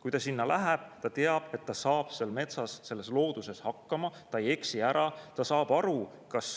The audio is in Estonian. Kui ta sinna läheb, ta teab, et ta saab seal metsas, looduses hakkama: ta ei eksi ära, ta saab aru, kas